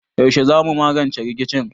Yaushe zamu magance rikicin?